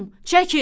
Çəkin!